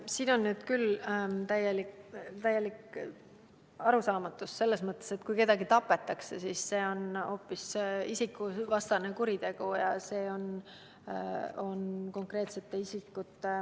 Siin on nüüd küll täielik arusaamatus selles mõttes, et kui keegi tapetakse, siis see on hoopis isikuvastane kuritegu ja see on konkreetsete isikute ...